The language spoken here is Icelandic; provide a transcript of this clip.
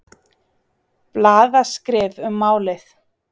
Blaðaskrif um málið.